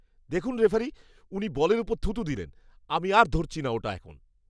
দেখুন রেফারি, উনি বলের ওপর থুথু দিলেন। আমি আর ধরছি না ওটা এখন!